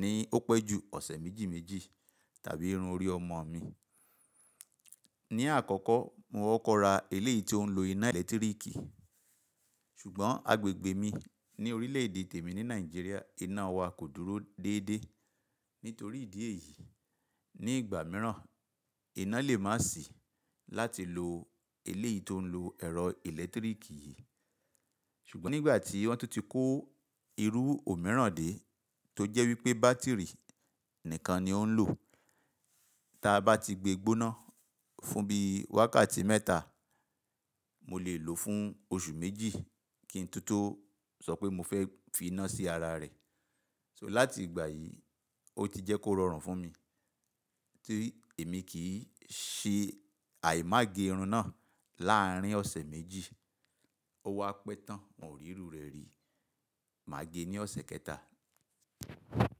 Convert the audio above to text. ní ó pẹ́ jù ọ̀sẹ̀ méjì méjì tàbí irun orí ọmọ mi. Ni àkọ́kọ́, mo kokọ̀ ra eléyìí tó ń lo iná ẹ̀lẹ́tíríkì, ṣùgbọ́n agbègbè mi ní orílẹ̀-èdè tèmi ní Nàìjíríà, iná wa kò dúró déédéé. Nítorí ìdí èyí, ní ìgbà mìíràn, iná lè má sì láti lo eléyìí tó ń lo ẹ̀rọ ẹ̀lẹ́tíríkì yìí. Ṣùgbọ́n nígbà tí wọ́n tó ti kó irú òmíràn dé tó jẹ́ wípé bátìrì nìkan ni ó ń lò, tí a bá ti gbé gbóná fún bí i wákàtí mẹ́ta, mo lè lò ó fún oṣù méjì kí n tó tó sọ pé mo fẹ́ fi iná sí ara rẹ̀. Láti ìgbà yìí, ó ti jẹ́ kó rọrùn fún mi tí èmi kì í ṣe àìmá gé irun náà. Láàárín ọ̀sẹ̀ méjì, ó wá pẹ́ tán, wọn ò rí irú rẹ̀ rí. Máa gé ní ọ̀sẹ̀ kẹta.